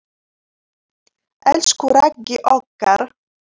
Elsku Raggi okkar.